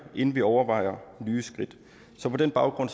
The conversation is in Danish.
inden vi overvejer nye skridt så på den baggrund